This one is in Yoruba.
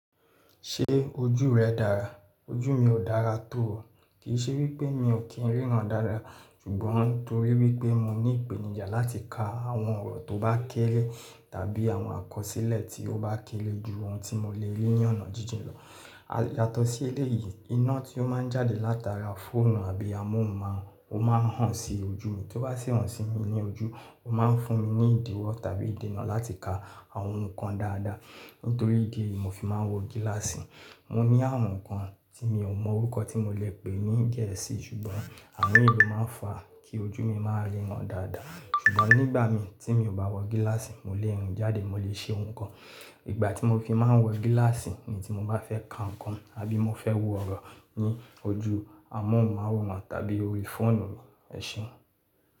Ṣé ojú rẹ dára? Ojú mi ò dára tó o. Kì í ṣe wípé mi ò kí ń ríran dáadáa, ṣùgbọ́n nítorí wípé mo ní ìpèníjà láti ka àwọn ọ̀rọ̀ tó bá kéré tàbí àwọn àkọsílẹ̀ tí ó bá kéré ju ohun tí mo lè rí ní ọ̀nà jíjìn lọ. Yàtọ̀ sí eléyìí, iná tí ó máa ń jáde látara fóònù àbí amóhùnmáwòrán, ó máa ń hàn si ojú mi. Kí ó bá sì hàn si mi ní ojú, ó máa ń fún mi ní ìdíwọ̀ tàbí ìdènà láti ka àwọn nǹkan dáadáa. Nítorí ìdí èyí mo fi máa ń wọ gíláàsì. Mo ní àrùn kan tí mi ò mọ orúkọ tí mo lè pè é ní Gẹ̀ẹ́sì, ṣùgbọ́n àrun yi lò máa ń fa kí ojú mi máa ríran dáadáa. Ṣùgbọ́n nígbà mi tí mi ò bá wọ gíláàsì, mo lè rìn jáde mo lè ṣe ohun kan. Ìgbà tí mo fi máa ń wọ gíláàsì, ìgbà tí mo bá fẹ́ ka nǹkan àbí mo fẹ́ wo ọ̀rọ̀ ní ojú amóhùnmáwòrán tàbí orí fóònù mi, ẹṣé.